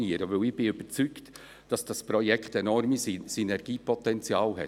Denn ich bin überzeugt, dass das Projekt enormes Synergiepotenzial hat.